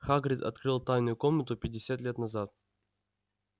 хагрид открыл тайную комнату пятьдесят лет назад